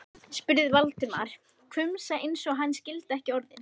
spurði Valdimar, hvumsa eins og hann skildi ekki orðin.